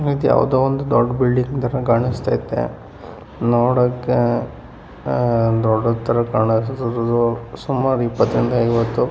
ಇದು ಯಾವುದೋ ಒಂದು ದೊಡ್ಡ ಬಿಲ್ಡಿಂಗ್‌ ತರ ಕಾಣಿಸ್ತಾ ಇದೆ ನೋಡೋಕೆ ದೊಡ್ಡದು ತರ ಕಾಣಿಸ್ತಾ ಇದೆ. ಸುಮಾರು ಇಪ್ಪತ್ತರಿಂದ ಐವತ್ತು--